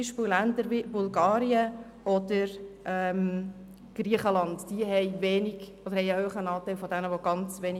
Länder wie Bulgarien oder Griechenland erreichen hingegen schlechte Werte.